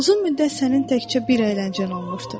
Uzun müddət sənin təkcə bir əyləncən olmuşdur.